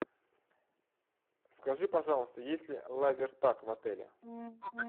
скажи пожалуйста есть ли лазертаг в отеле